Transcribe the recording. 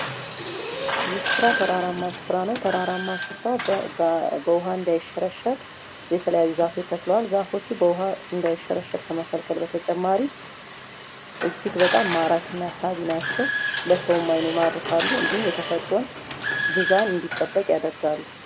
ይህ ስፍራ ተራራማ ስፍራ ነው ተራራማ ስፍራ በዉሃ እንዳይሸረሸር የተለያየ ዛፎች ተተክለዋል:: ዛፎቹ በውሃ እንዳይሸረሸር ከመከልከል በተጨማሪ እጅግ በጣም ማራኪ እና ሳቢ ናቸው ለሰውም አይን ይማርካሉ እንዲሁም የተፈጥሮን ሚዛን እንዲጠበቅ ያደርጋሉ::